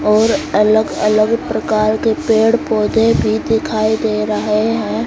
और अलग अलग प्रकार के पेड़ पौधे भी दिखाई दे रहे हैं।